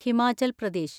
Himachal Pradesh